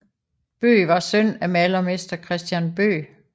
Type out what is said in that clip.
Bøgh var søn af malermester Christian Bøgh